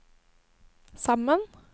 sammen